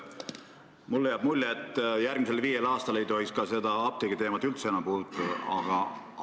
Mulle jääb mulje, et järgmisel viiel aastal ei tohiks seda apteegiteemat üldse enam puudutada.